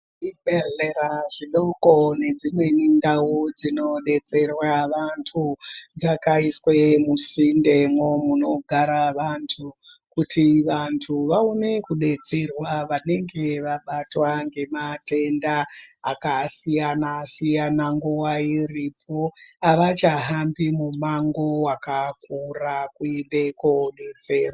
Zvibhedhlera zvidoko nedzimweni ndau dzinobetserwa vantu dzakaiswe musindemwo munogara vantu. Kuti vantu vaone kubetserwa vanenge vabatwa ngematenda akasiyana-siyana nguva iripo. Havachahambi mumango vakakura kuende kobetserwa.